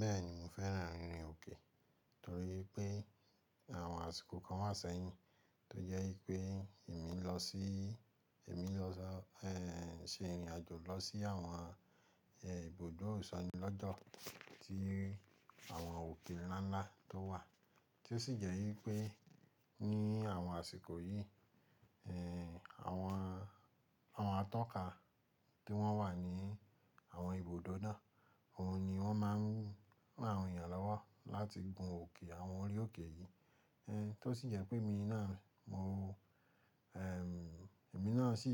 Bẹ́ẹ̀ni mo fẹ́ràn ìrìn òkè torí pé àwọn àsìkò kan wá sẹ́yìn tó jẹ́ pé èmi lọ sí, èmi lọ sọ, eh, se ìrìnàjò lọ sí àwọn, eh, ibùdó ìsànílọ́jọ̀ tí àwọn òkè ńlá ńlá tó wà, tí ó sì jẹ́ wípé ní àwọn àsìkò yìí, eh, àwọn, àwọn atọ́ka tí wọ́n wà ní àwọn ibùdó náà, òun ni wọ́n máa ń ran àwọn èèyàn lọ́wọ́ láti gun òkè àwọn orí òkè yìí. Eh, tó sì jẹ pé emi náà mọ̀, eh, èmi náà sì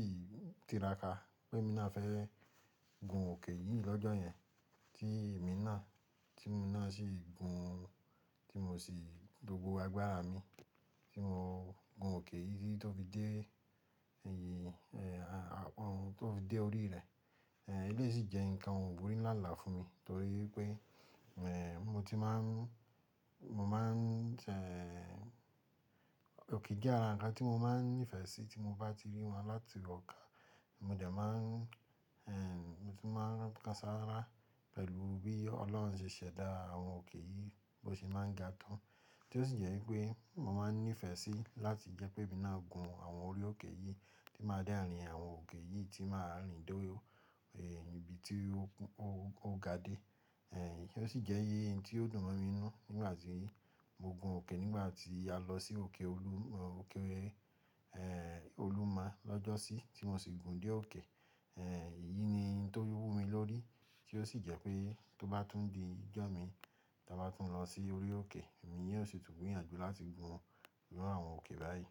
tiraka pé emi náà fẹ́ gun òkè yìí lọ́jọ́ yẹn, tí èmi náà, tí emi náà sì gun, tí mo sì gbogbo agbára mi tí mo gun òkè yìí tó fi dé èyí, eh, tó fi dé orí rẹ̀. Eh, eleyi sì jẹ nǹkan wùrì nlá ńlá fún mi torí pé, eh, mo ti máa ń, mo má ń, eh, òkè jẹ̀ ara nkan ti mo maa n nifẹ̀ si ti mo ba ti ri wọ̀n lati ọ́kan modẹ̀ maa n eh! Mo tun maa n kan sara pẹ̀lu bi ọ́lọ́hun se sẹ̀da awọ̀n oke yii bi o se maa n ga to tí ó sì jẹ́ wípé mo má ń nífẹ̀ẹ́ sí láti jẹ́ pé emi náà gun àwọn orí òkè yìí tí máa de rin àwọn òkè yìí tí máa rìn dórí, eh, ibi tí ó ga dé. Eh, kí ó sì jẹ́ n tí ó dùn mọ́ mi n nù nígbà tí mo gun òkè, nígbà tí a lọ sí òkè Olu, òkè, eh, Olúma lọ́jọ́sí tí mo sì gùn dé òkè. Eh, èyí ni ohun tó wú mi lórí, tí ó sì jẹ́ pé tó bá tún di ijọ́ mi ta bá tún lọ sí orí òkè, èmi yóò sì tún gbìyànjú láti gun irú àwọn òkè báyìí.